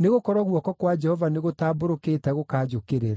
nĩgũkorwo guoko kwa Jehova nĩgũtambũrũkĩte gũkanjũkĩrĩra!”